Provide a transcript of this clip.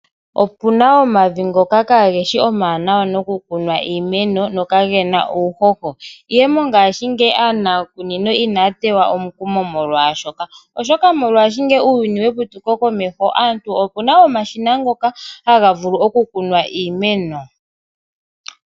Opu na omavi ngoka kaage shi omawanawa nokukunwa iimeno nokage na uuhoho, ihe mongashingeyi aaniikunino inaya teywa omukumo kwaa shoka, oshoka muuyuni weputuko opu na omashina ngoka haga vulu okukunwa iimeno.